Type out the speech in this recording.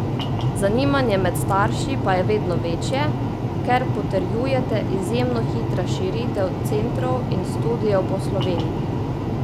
Zanimanje med starši pa je vedno večje, ker potrjujete izjemno hitra širitev centrov in studiev po Sloveniji.